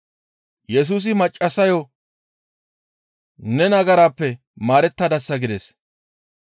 Yesusi maccassayo, «Ne nagarappe maarettadasa» gides.